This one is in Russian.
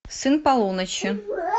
сын полуночи